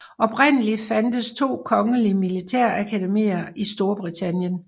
Oprindeligt fandtes to kongelige militærakademier i Storbritannien